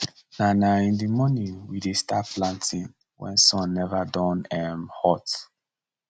na na in the morning we dey start planting wen sun neva don um hot